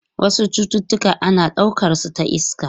Wasu cututtuka ana daukar su ta iska.